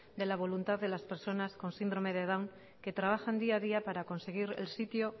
de la voluntad de las personas con síndrome de down que trabajan día a día para conseguir el sitio